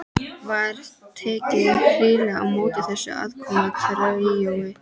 Var tekið hlýlega á móti þessu aðkomna tríói.